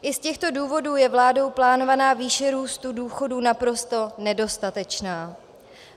I z těchto důvodů je vládou plánovaná výše růstu důchodů naprosto nedostatečná.